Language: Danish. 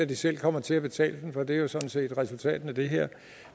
at de selv kommer til at betale den for det er jo sådan set resultatet af det her